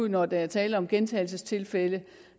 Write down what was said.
når der er tale om gentagelsestilfælde